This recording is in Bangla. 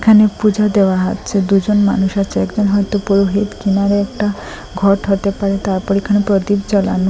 আনে পূজো দেওয়া হচ্ছে দুজন মানুষ আছে হয়তো পুরোহিত কিনারে একটা ঘট হতে পারে তারপর এখানে প্রদীপ জ্বালানো।